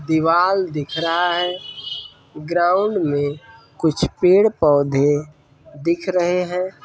दीवाल दिख रहा है ग्राउंड में कुछ पेड़ पौधे दिख रहे हैं।